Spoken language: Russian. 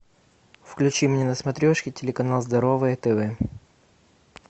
включи мне на смотрешке телеканал здоровое тв